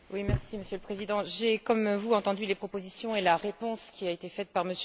Monsieur le Président, j'ai, comme vous, entendu les propositions et la réponse qui a été faite par M.